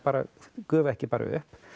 gufar ekki bara upp